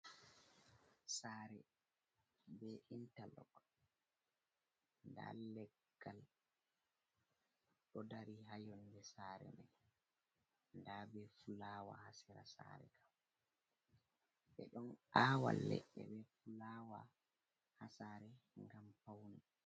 Sare be interlog, nda leggal ɗo dari hayonde sare mai, nda be fulawa hasera sare kam ɓe ɗon awa leɗɗe be fulawa ha sare ngam paune.